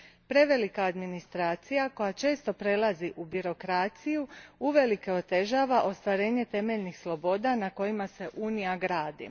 Prevelika administracija, koja često prelazi u birokraciju, uvelike otežava ostvarenje temeljnih sloboda na kojima se Unija gradi.